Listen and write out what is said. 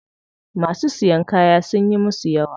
Masu siyan kaya sunyi musu yawa.